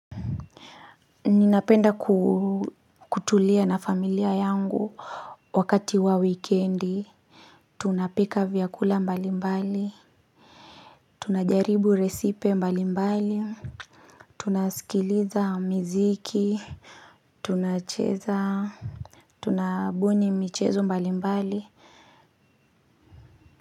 Ninapenda kutulia na familia yangu wakati wa wikendi Tunapika vyakula mbali mbali tunajaribu resipe mbali mbali Tunaskiliza muziki Tunacheza Tunabuni michezo mbali mbali.